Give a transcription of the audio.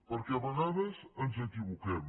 perquè a vegades ens equivoquem